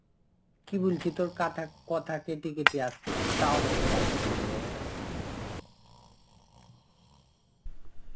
কি বলছি তোর কাথা~ কথা কেটে কেটে আসছে. একটু tower দিকে আই কেনে রে.